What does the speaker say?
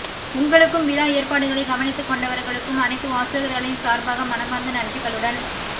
உங்களுக்கும் விழா ஏற்பாடுகளை கவனித்துக்கொண்டவர்களுக்கும் அனைத்து வாசகர்களின் சார்பாக மனமார்ந்த நன்றிகளுடன்